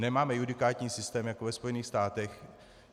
Nemáme judikátní systém jako ve Spojených státech.